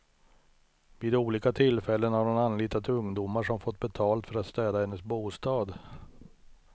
Vid olika tillfällen har hon anlitat ungdomar som fått betalt för att städa hennes bostad.